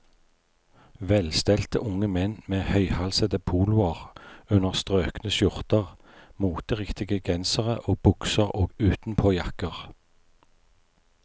Velstelte unge menn med høyhalsede poloer under strøkne skjorter, moteriktige gensere og bukser og utenpåjakker.